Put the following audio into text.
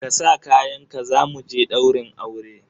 Ka sa kayanka za mu je ɗaurin aure!